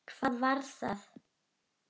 Hvað var það?